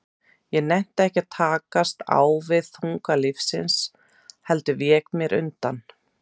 Ég nennti ekki að takast á við þunga lífsins, heldur vék mér undan.